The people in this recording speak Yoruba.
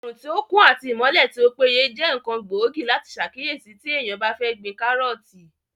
Òrùn tí ó kún àti ìmọ́lẹ̀ tí ó péye jẹ́ ǹkan gbóògì láti sàkíyèsí tí èèyàn bá fẹ́ gbin kárọ̀ọ̀tì